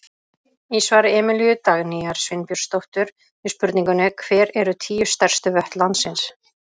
Í svari Emilíu Dagnýjar Sveinbjörnsdóttur við spurningunni Hver eru tíu stærstu vötn landsins?